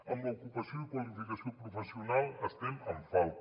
amb l’ocupació i qualificació professional estem en falta